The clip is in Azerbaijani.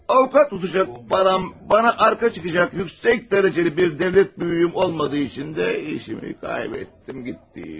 Avukat tutacaq param, bana arka çıxacaq, yüksək dərəcəli bir dövlət böyüyüm olmadığı üçün də işimi kaybettim, getdi iş.